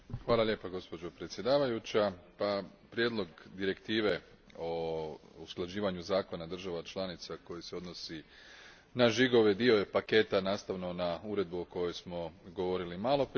Gospođo predsjednice, prijedlog direktive o usklađivanju zakona država članica koji se odnosi na žigove dio je paketa nastao na uredbi o kojoj smo govorili maloprije.